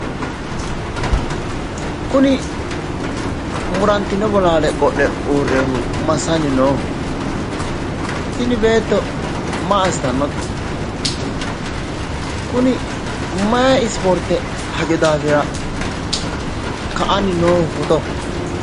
Kuni murantino bolaale qodho uurreehu masanni nooho tini beetto maa assitannote kuni mayi ispoorte hajo daafira ka"anni nooho footo